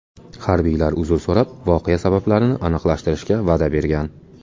Harbiylar uzr so‘rab, voqea sabablarini aniqlashtirishga va’da bergan.